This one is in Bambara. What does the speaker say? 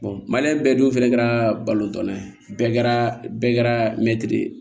maliyɛn bɛɛ dun fana kɛra balɔntan ye bɛɛ kɛra bɛɛ kɛra mɛtiri ye